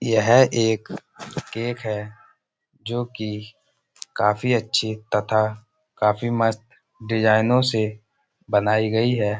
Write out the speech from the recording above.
यह एक केक है। जो कि काफी अच्छी तथा काफी मस्त डिजाइनों से बनाई गई है।